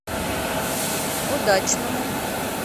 удачному